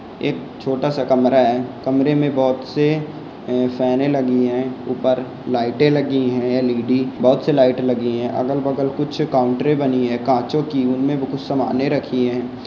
एक छोटा सा कमरा है कमरे में बोहोत से फेने लगीं हैं ऊपर लाइटें लगी हैं एल.ई.डी. बोहोत सी लाइटें लगी हैं अगल बगल कुछ काउंटरे बनी है कांचो की उनमें बोहोत सामाने रखी है।